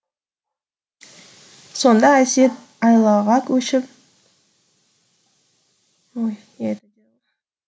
сонда әсет айлаға көшіп жаңағы айтып жатқан әнді емес ұстазының өзі оқытқан сабағын әнге қосып айтып берді